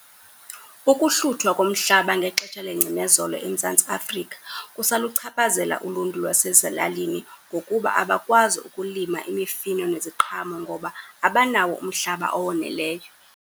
Ukuhluthwa komhlaba ngexesha lengcinezelo eMzantsi Afrika kusaluchaphazela uluntu lwasezilalini ngokuba abakwazi ukulima imifino neziqhamo ngoba abanawo umhlaba owoneleyo.